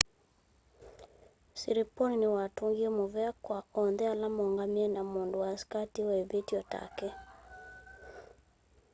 siriporn niwatungie muvea kwa onthe ala moongamie na mũndũ wasikatiwe ivithyo take